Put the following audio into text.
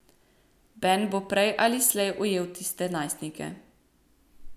Ben bo prej ali slej ujel tiste najstnike.